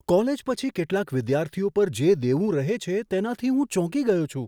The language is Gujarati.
કોલેજ પછી કેટલાક વિદ્યાર્થીઓ પર જે દેવું રહે છે તેનાથી હું ચોંકી ગયો છું.